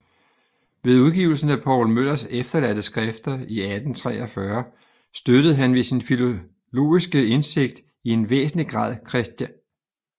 Ved udgivelsen af Poul Møllers Efterladte Skrifter 1843 støttede han ved sin filologiske indsigt i en væsentlig grad Chr